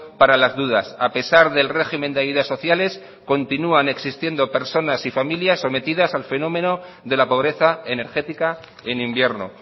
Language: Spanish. para las dudas a pesar del régimen de ayudas sociales continúan existiendo personas y familias sometidas al fenómeno de la pobreza energética en invierno